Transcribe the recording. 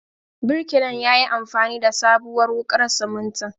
Birkilan yayi amfani da sabuwar wuƙar simintin.